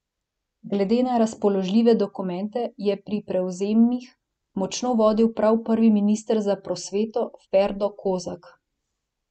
Glede na razpoložljive dokumente je pri prevzemih močno vodil prav prvi minister za prosveto Ferdo Kozak.